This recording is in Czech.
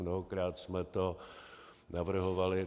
Mnohokrát jsme to navrhovali.